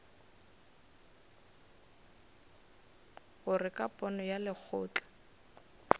gore ka pono ya lekgotla